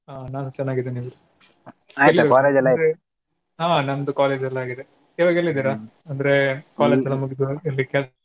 ಹಾ ನಾನು ಚೆನ್ನಾಗಿದ್ದೇನೆ ಹಾ ನಮ್ದು college ಆಗಿದೆ ಇವಾಗ ಎಲ್ಲಿದಿರ? ಅಂದ್ರೆ college ಎಲ್ಲಾ ಮುಗಿದು ಇಲ್ಲಿ .